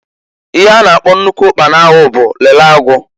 Ihe a na-akpọ nnukwu ụkpana ahu bu lele agu.